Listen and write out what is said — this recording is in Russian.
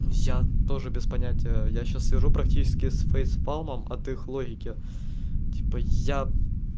ну я тоже без понятия я сейчас вижу практически с фэйс спамом от их логики типа я